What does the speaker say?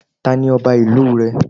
Ta ni Ọba ìlú rẹ?